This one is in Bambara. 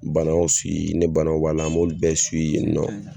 Banaw ni banaw b'a la m'o bɛɛ yen nɔ.